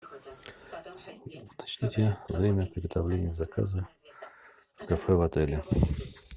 уточните время приготовления заказа в кафе в отеле